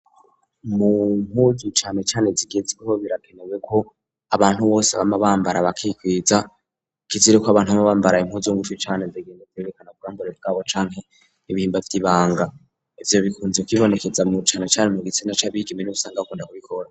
Mumpuzu cane cane zigezweho birakenewe ko abantu bose b'ama bambara bakikwiza kizirako abantu baba bambara impuzu ngufi cane zigenda zerekana ubwambure bw'abo canke n'ibihimba vy'ibanga ivyo bikunze kw'ibonekeza muricano cyane mu gitsina ca bigeme niho usanga bakunda kubikora.